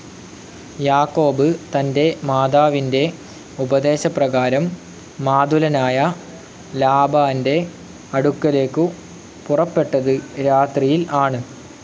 യാക്കോബ് തന്റെ മാതാവിന്റെ ഉപദേശപ്രകാരം മാതുലനായ ലാബാന്റെ അടുക്കലേക്കു പുറപ്പെട്ടത്‌ രാത്രിയിൽ ആണ്.